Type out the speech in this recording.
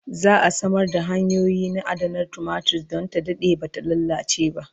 za'a Samar da hanyoyi na adanar tumatir Dan ta Dade Bata lallace ba